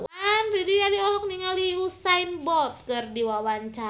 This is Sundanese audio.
Didi Riyadi olohok ningali Usain Bolt keur diwawancara